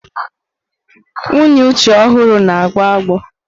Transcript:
Nwunye Uche ọhụrụ na-agbọ agbọ.